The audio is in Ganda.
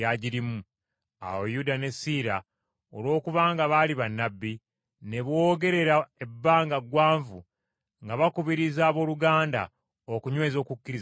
Awo Yuda ne Siira, olwokubanga baali bannabbi, ne boogerera ebbanga ggwanvu nga bakubiriza abooluganda okunyweza okukkiriza kwabwe.